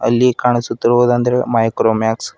ಅಲ್ಲಿ ಕಾಣಿಸುತ್ತಿರುವುದು ಅಂದ್ರೆ ಮೈಕ್ರೋ ಮ್ಯಾಕ್ಸ್ .